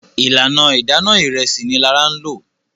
ìlànà Idana Ìrẹsí ní Lara ló.